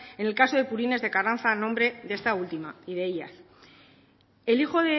en el caso de purines de carranza a nombre de esta última el hijo